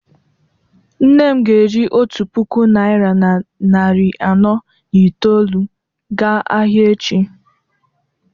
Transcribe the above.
nne m ga-eji otu puku naira na narị anọ na itoolu gaa ahịa echi